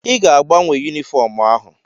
Ị ga-agbanwe yunifọọm ahụ.